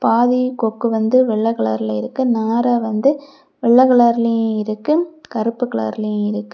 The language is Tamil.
பாதி கொக்கு வந்து வெள்ளை கலர்ல இருக்கு நாரை வந்து வெள்ள கலர்லேயும் இருக்கு கருப்பு கலர்லையும் இருக்கு.